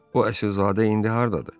O əsilzadə indi hardadır?